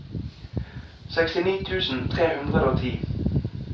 sekstini tusen tre hundre og ti